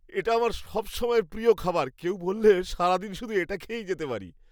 এটা আমার সবসময়ের প্রিয় খাবার, কেউ বললে সারাদিন শুধু এটাই খেয়ে যেতে পারি।